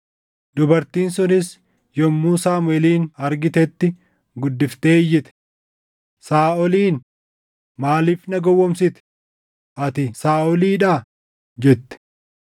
Dubartiin sunis yommuu Saamuʼeelin argitetti guddiftee iyyite. Saaʼoliin, “Maaliif na gowwoomsite? Ati Saaʼolii dha!” jette.